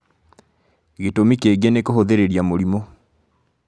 Gĩtũmi kĩngĩ nĩ kũhũthĩrĩria mũrimũ